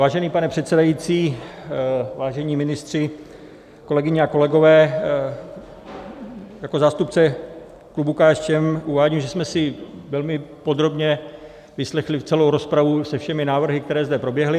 Vážený pane předsedající, vážení ministři, kolegyně a kolegové, jako zástupce klubu KSČM uvádím, že jsme si velmi podrobně vyslechli celou rozpravu se všemi návrhy, které zde proběhly.